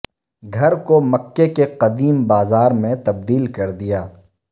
گھر کو مکہ کے قدیم بازار میں تبدیل کردیا